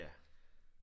Ja